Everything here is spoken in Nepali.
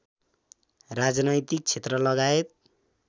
राजनैतिक क्षेत्रलगायत